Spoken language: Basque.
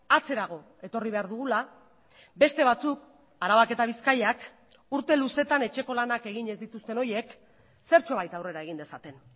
atzerago etorri behar dugula beste batzuk arabak eta bizkaiak urte luzetan etxeko lanak egin ez dituzten horiek zertxobait aurrera egin dezaten